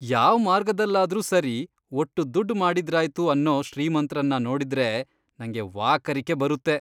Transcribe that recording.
ಯಾವ್ ಮಾರ್ಗದಲ್ಲಾದ್ರೂ ಸರಿ ಒಟ್ಟು ದುಡ್ಡ್ ಮಾಡಿದ್ರಾಯ್ತು ಅನ್ನೋ ಶ್ರೀಮಂತ್ರನ್ನ ನೋಡ್ದ್ರೆ ನಂಗೆ ವಾಕರಿಕೆ ಬರುತ್ತೆ.